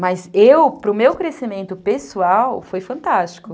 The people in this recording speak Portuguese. Mas eu, para o meu crescimento pessoal, foi fantástico.